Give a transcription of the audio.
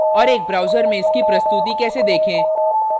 और एक browser में इसकी प्रस्तुति कैसे देखें